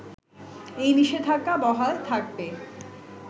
এই নিষেধাজ্ঞা বহাল থাকবে